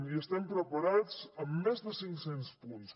i estem preparats amb més de cinc cents punts